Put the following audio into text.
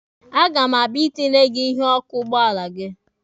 A ga m abịa itinyere gị ihu ọkụ ụgbọala gị.